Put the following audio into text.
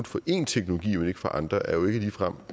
for en teknologi men ikke for andre er jo ikke ligefrem